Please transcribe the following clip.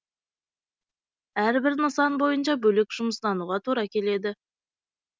әрбір нысан бойынша бөлек жұмыстануға тура келеді